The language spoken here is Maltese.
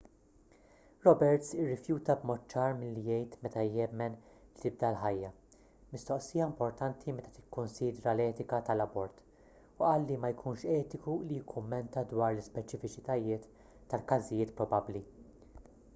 roberts irrifjuta b'mod ċar milli jgħid meta jemmen li tibda l-ħajja mistoqsija importanti meta tikkunsidra l-etika tal-abort u qal li ma jkunx etiku li jikkummenta dwar l-ispeċifiċitajiet tal-każijiet probabbli